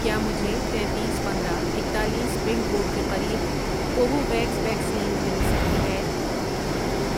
کیا مجھے تینتیس، پندرہ، اکتالیس پن کوڈ کے قریب کوووویکس ویکسین مل سکتی ہے